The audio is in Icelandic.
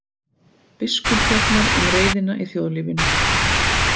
Biskup fjallar um reiðina í þjóðlífinu